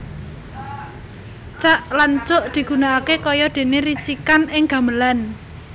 Cak lan cuk digunakaké kaya déné ricikan ing gamelan